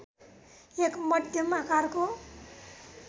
एक मध्यम आकारको